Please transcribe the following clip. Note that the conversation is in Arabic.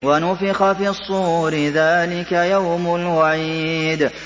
وَنُفِخَ فِي الصُّورِ ۚ ذَٰلِكَ يَوْمُ الْوَعِيدِ